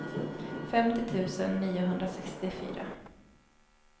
femtio tusen niohundrasextiofyra